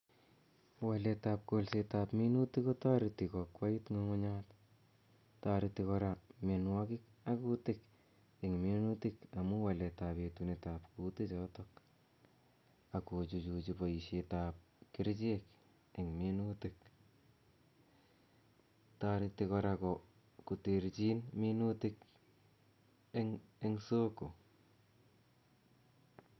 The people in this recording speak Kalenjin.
Waletab kolsetab minutik kotoreti koakwait ng'ung'unyat toreti kora mianwokik ak kutik en minutik amun waletab etunetab kutichoto, akochuchuchi boisietab kerichek en minutik, toreti kora koterchin minutik en soko.